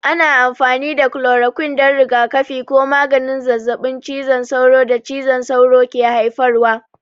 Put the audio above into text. Ana amfani da kulorokwin don rigakafi ko maganin zazzabin cizon sauro da cizon sauro ke haifarwa.